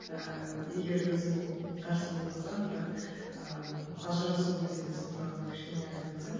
ыыы егер өзің қарсы болмасаң бірақ ыыы ажырасу мәселесі туралы кішкене айтып өтсең